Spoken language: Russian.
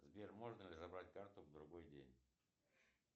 сбер можно ли забрать карту в другой день